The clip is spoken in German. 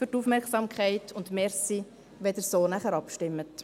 Danke für die Aufmerksamkeit, und danke, wenn Sie danach so abstimmen.